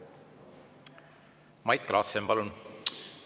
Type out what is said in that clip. Mait Klaassen, palun!